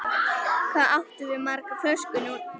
Hvað áttu margar flöskur núna?